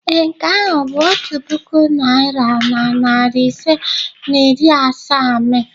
Ee, nke ahụ bụ otu puku naira na narị ise na iri asaa m.